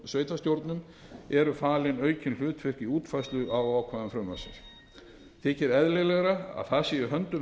sveitarstjórnum eru falin aukin hlutverk í útfærslu á ákvæðum frumvarpsins þykir eðlilegra að það sé á höndum